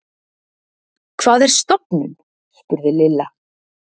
Hvað er stofnun? spurði Lilla.